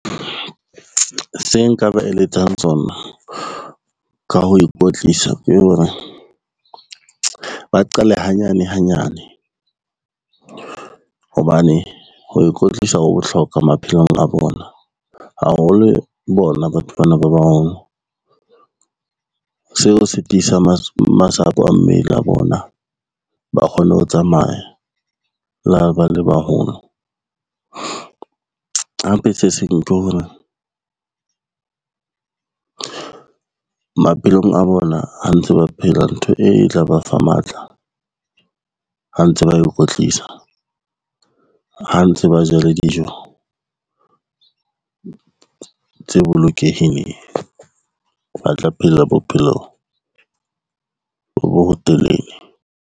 Se nka ba eletsang tsona ka ho ikwetlisa ke hore, ba qale hanyane hanyane hobane ho ikwetlisa ho bohlokwa maphelong a bona, haholo bona batho bana ba baholo. Seo se tiisa masapo a mmele ya bona, ba kgone ho tsamaya le ha ba le baholo, hape se seng ke hore maphelong a bona ha ntse ba phela ntho e tla ba fa matla ha ntse ba e kwetlisa, ha ntse ba ja le dijo tse bolokehileng, ba tla phela bophelo bo bo telele.